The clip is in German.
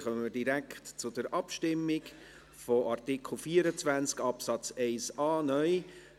Dann kommen wir direkt zur Abstimmung zu Artikel 24 Absatz 1a (neu).